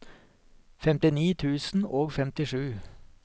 femtini tusen og femtisju